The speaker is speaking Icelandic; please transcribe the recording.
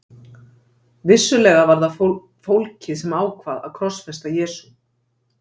Vissulega var það fólkið sem ákvað að krossfesta Jesú.